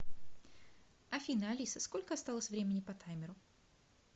афина алиса сколько осталось времени по таймеру